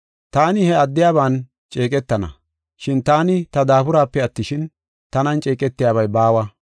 Taani he addiyaban ceeqetana, shin taani ta daaburaape attishin, tanan ceeqetiyabay baawa.